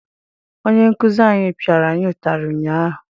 Onye nkụzi anyị pịara anyị ụtarị ụnyaahụ.